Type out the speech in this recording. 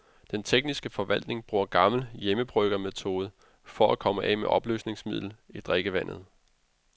Den tekniske forvaltning bruger gammel hjemmebryggermetode for at komme af med opløsningsmiddel i drikkevandet.